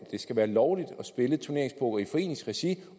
skal være lovligt at spille turneringspoker i foreningsregi